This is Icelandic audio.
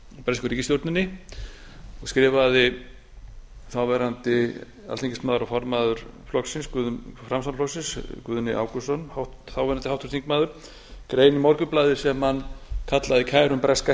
bresku ríkisstjórninni og skrifaði þáverandi alþingismaður og formaður framsóknarflokksins þáverandi háttvirtur þingmaður guðni ágústsson grein í morgunblaðið sem hann kallaði kærum breska